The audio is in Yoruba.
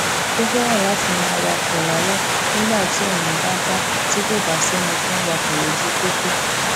ó féràn láti máa wakò lálé nígbà ti ona ba da ti kò bá séni tó ń wakò lójú popo